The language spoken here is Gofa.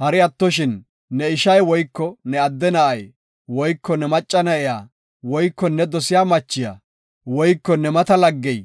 Hari attoshin, ne ishay woyko ne adde na7ay woyko ne macca na7iya woyko ne dosiya machiya woyko ne mata laggey,